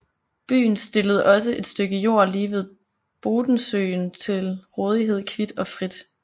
Byen stillede også et stykke jord lige ved Bodensøen til rådighed kvit og frit